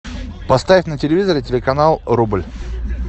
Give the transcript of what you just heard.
поставь на телевизоре телеканал рубль